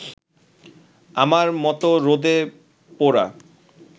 আমার মত রোদে পোড়া